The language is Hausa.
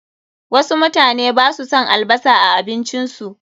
Wasu mutane basu son albasar a abincin su.